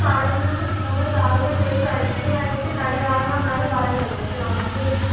പറയുന്നത് നമ്മൾ രാവിലെ കുളിച്ച് ഐശ്വര്യമായിട്ട് കണി കാണണമെന്നാണ് പറയുന്നത് പക്ഷെ നമ്മക്ക്